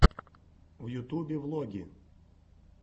в ютубе влоги